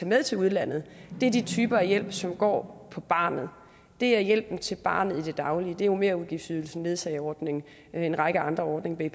med til udlandet er de typer af hjælp som går på barnet det er hjælpen til barnet i det daglige det er merudgiftsydelsen ledsageordningen og en række andre ordninger